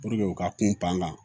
u ka kun pan ka